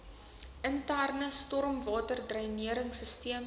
interne stormwaterdreinering sisteme